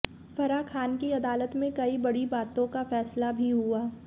फराह खान की अदालत में कई बड़ी बातों का फैसला भी हुआ